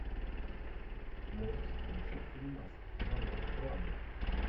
можешь включить фильмас жанра драма